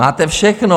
Máte všechno.